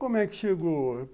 Como é que chegou?